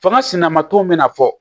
Fanga sinanba ton bɛna fɔ